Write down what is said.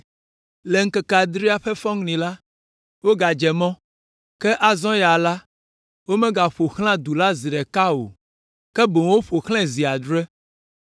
Le ŋkeke adrelia ƒe fɔŋli la, wogadze mɔ, ke azɔ ya la, womegaƒo xlã du la zi ɖeka ko o, ke boŋ woƒo xlãe zi adre.